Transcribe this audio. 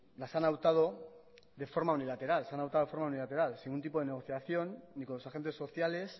las han adoptado de forma unilateral se han adoptado de forma unilateral sin ningún tipo negociación ni con los agentes sociales